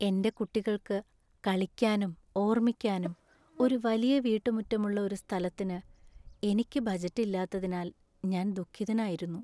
എന്‍റെ കുട്ടികൾക്കു കളിക്കാനും ഓർമിക്കാനും ഒരു വലിയ വീട്ടുമുറ്റമുള്ള ഒരു സ്ഥലത്തിന് എനിക്ക് ബജറ്റ് ഇല്ലാത്തതിൽ ഞാൻ ദുഃഖിതനായിരുന്നു.